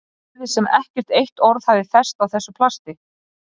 Svo virðist sem ekkert eitt orð hafi fest á þessu plasti.